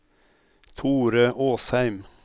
Thore Åsheim